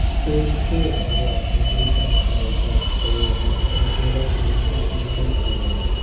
store se abo decoration kelaijak naitotok jewellers dokan pono wngoi mano abo.